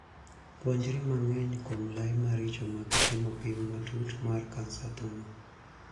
Puonjri mang'eny kuom lai maricho mag timo pim matut mar kansa thuno.